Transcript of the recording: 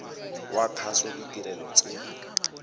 wa kgaso ditirelo tse